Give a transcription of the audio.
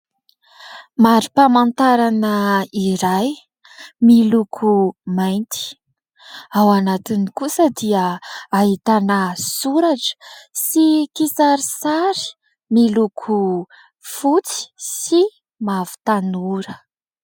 Mari-pamantarana iray miloko mainty. Ao anatiny kosa dia ahitana soratra sy kisarisary miloko fotsy sy mavo tanora.